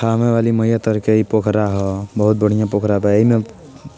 थाना वाली मइया तरकेही पोखरा ह बहुत बढ़िया पोखराह बा | ईम